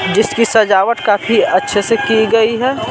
जिसकी सजावट काफी अच्छे से की गई है।